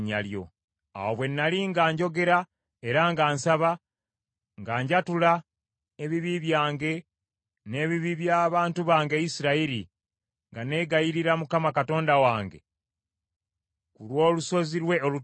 Awo bwe nnali nga njogera era nga nsaba, nga njatula ebibi byange n’ebibi by’abantu bange Isirayiri, nga neegayirira Mukama Katonda wange ku lw’olusozi lwe olutukuvu,